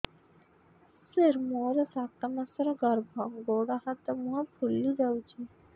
ସାର ମୋର ସାତ ମାସର ଗର୍ଭ ଗୋଡ଼ ହାତ ମୁହଁ ଫୁଲି ଯାଉଛି